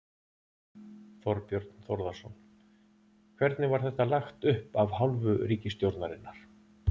Þorbjörn Þórðarson: Hvernig var þetta lagt upp af hálfu ríkisstjórnarinnar?